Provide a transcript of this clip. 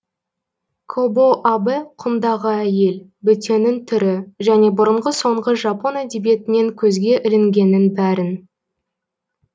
кобо абэ құмдағы әйел бөтеннің түрі және бұрынғы соңғы жапон әдебиетінен көзге ілінгеннің бәрін